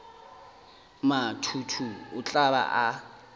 mathuhu o tla ba a